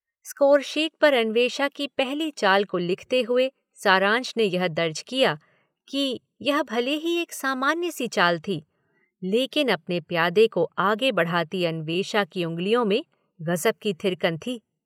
Scoresheet पर अन्वेषा की पहली चाल को लिखते हुए सारांश ने यह दर्ज किया कि यह भले ही एक सामान्य-सी चाल थी लेकिन अपने प्यादे को आगे बढ़ाती अन्वेषा की उंगलियों में गजब की थिरकन थी।